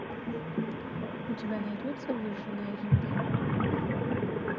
у тебя найдется выжженная земля